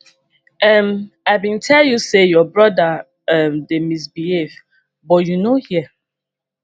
um i bin tell you say your brother um dey misbehave but you no hear